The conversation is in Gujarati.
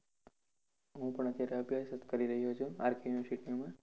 હું પણ અત્યારે અભ્યાસ જ કરી રહ્યો છુ RK university માં.